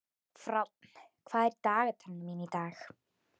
Fránn, hvað er í dagatalinu mínu í dag?